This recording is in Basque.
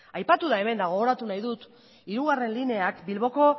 aipatu da hemen eta gogoratu nahi dut hirugarrena lineak bilboko